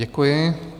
Děkuji.